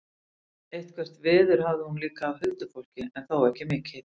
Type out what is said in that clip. Eitthvert veður hafði hún líka af huldufólki en þó ekki mikið.